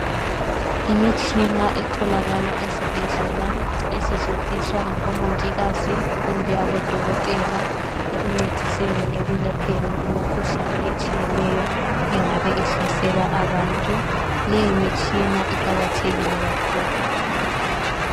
Imitshina etholakala esibhedlela esetshenziswa ngabomongikazi kumbe odokotela esibhedlela ekuncediseni ekwalapheni imikhuhlane etshiyeneyo engabe ihlasela abantu. Leyomitshina iqakathekile kakhulu.